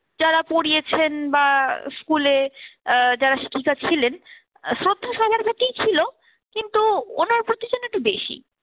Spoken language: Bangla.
যারা পড়িয়েছেন বা school এ আহ যারা শিক্ষিকা ছিলেন শ্রদ্ধা সবার প্রতিই ছিল কিন্তু ওনার প্রতি যেন একটু বেশি।